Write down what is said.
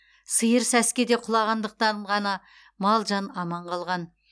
сиыр сәскеде құлағандықтан ғана мал жан аман қалған